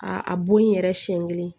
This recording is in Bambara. A a bo yen yɛrɛ siɲɛ kelen